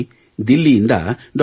ಬನ್ನಿ ದಿಲ್ಲಿಯಿಂದ ಡಾ